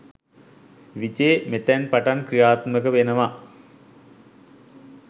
විජේ මෙතැන් පටන් ක්‍රියාත්මක වෙනව